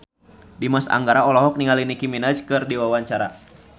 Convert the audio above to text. Dimas Anggara olohok ningali Nicky Minaj keur diwawancara